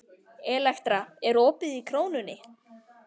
Elektra, er opið í Krónunni?